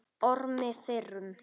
Ormi fyrrum.